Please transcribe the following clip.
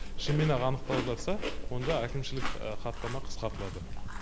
шынымен ақ анықталып жатса онда әкімшілік хаттама қысқартылады